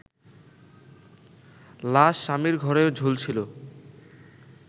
লাশ স্বামীর ঘরে ঝুলছিলো